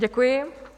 Děkuji.